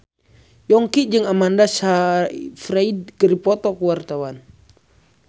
Yongki jeung Amanda Sayfried keur dipoto ku wartawan